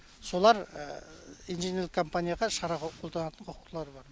солар инженерлік компанияға шара қолданылатын құқылары бар